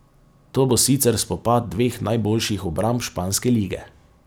To bo sicer spopad dveh najboljših obramb španske lige.